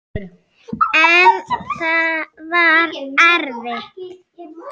En það var erfitt.